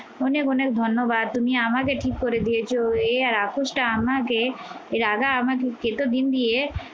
অনেক অনেক ধন্যবাদ, তুমি আমাকে ঠিক করে দিয়েছো এ আর রাক্ষসটা আমাকে এই রাধা আমার